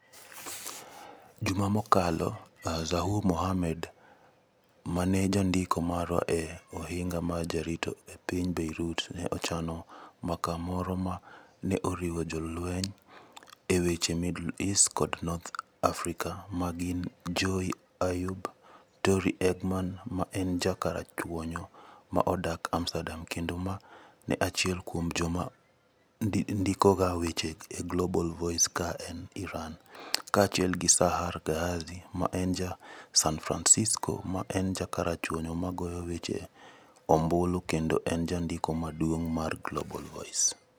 Juma mokalo, Zuhour Mahmoud ma en jandiko marwa e Ohinga mar Jarito e piny Beirut, ne ochano mbaka moro ma ne oriwo jo molony e weche Middle East kod North Africa ma gin Joey Ayoub, Tori Egherman ma en ja karachuonyo ma odak Amsterdam kendo ma en achiel kuom joma ndikoga weche e Global Voices ka en Iran, kaachiel gi Sahar Ghazi ma en ja San Francisco ma en ja karachuonyo ma goyo weche e ombulu kendo en Jandiko Maduong ' mar Global Voices.